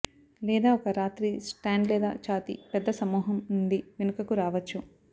లేదా ఒక రాత్రి స్టాండ్ లేదా ఛాతీ పెద్ద సమూహం నుండి వెనుకకు రావచ్చు